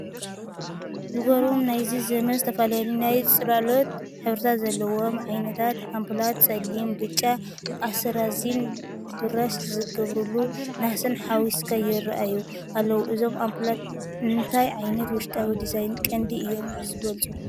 ዝገርሙ ናይዚ ዘመን ዝተፈላለዩ ናይ ጽላሎት ሕብርታት ዘለዎም ዓይነታት ኣምፑላት፤ ጸሊም፡ ብጫ ኣስራዚን ብራሽ ዝተገብረሉ ነሓስን ሓዊስካ ይራኣዩ ኣለው። እዞም ኣምፑላት ንእንታይ ዓይነት ውሽጣዊ ዲዛይን ቅዲ እዮም ዝበለፁ?